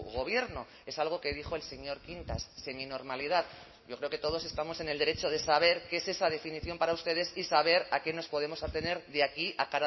gobierno es algo que dijo el señor quintas seminormalidad yo creo que todos estamos en el derecho de saber qué es esa definición para ustedes y saber a qué nos podemos tener de aquí a